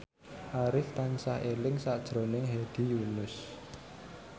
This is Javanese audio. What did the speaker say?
Arif tansah eling sakjroning Hedi Yunus